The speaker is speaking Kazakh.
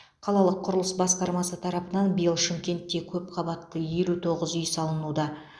қалалық құрылыс басқармасы тарапынан биыл шымкентте көп қабатты елу тоғыз үй салынуда